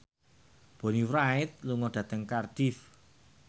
Bonnie Wright lunga dhateng Cardiff